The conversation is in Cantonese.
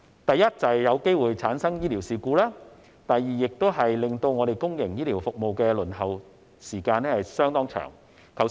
第一，會有機會出現醫療事故；第二，會令公營醫療服務的輪候時間增長。